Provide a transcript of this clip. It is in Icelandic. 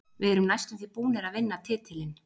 Við erum næstum því búnir að vinna titilinn.